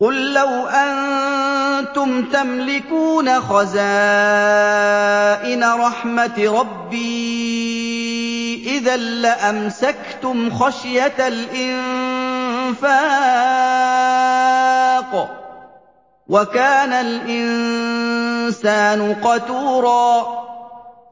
قُل لَّوْ أَنتُمْ تَمْلِكُونَ خَزَائِنَ رَحْمَةِ رَبِّي إِذًا لَّأَمْسَكْتُمْ خَشْيَةَ الْإِنفَاقِ ۚ وَكَانَ الْإِنسَانُ قَتُورًا